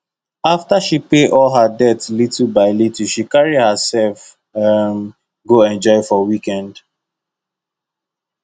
after she pay all her debt little by little she carry herself um go enjoy for weekend